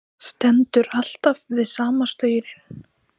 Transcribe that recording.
Stendur alltaf við sama staurinn.